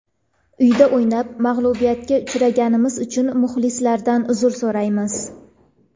Uyda o‘ynab, mag‘lubiyatga uchraganimiz uchun muxlislardan uzr so‘raymiz.